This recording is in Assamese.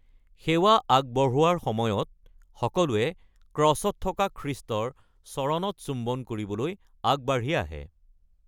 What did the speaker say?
সেৱা আগবঢ়োৱাৰ সময়ত, সকলোৱে ক্ৰছত থকা খ্ৰীষ্টৰ চৰণত চুম্বন কৰিবলৈ আগবাঢ়ি আহে।